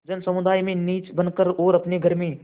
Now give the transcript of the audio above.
जनसमुदाय में नीच बन कर और अपने घर में